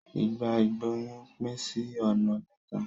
Ìgbà ìgbóyún pín sí ọ̀nà mẹ́ta.